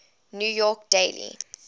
new york daily